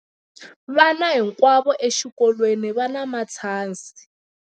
Vana hinkwavo exikolweni va na matshansi.